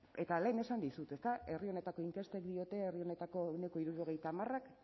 eta lehen esan dizut ezta herri honetako inkestek diote herri honetako ehuneko hirurogeita hamarak